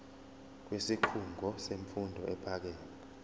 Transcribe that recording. kwisikhungo semfundo ephakeme